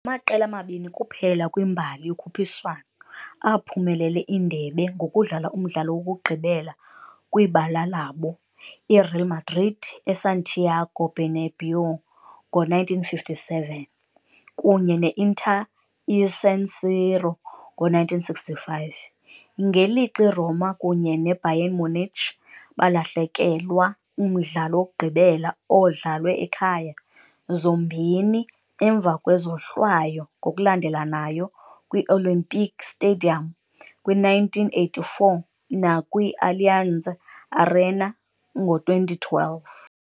Ngamaqela amabini kuphela kwimbali yokhuphiswano aphumelele indebe ngokudlala umdlalo wokugqibela kwibala labo- iReal Madrid eSantiago Bernabéu ngo-1957 kunye ne-Inter eSan Siro ngo-1965, ngelixa iRoma kunye neBayern Munich balahlekelwa umdlalo wokugqibela odlalwe ekhaya, zombini emva kwezohlwayo, ngokulandelanayo kwi-Olympic Stadium kwi-1984 nakwi-Allianz Arena ngo-2012.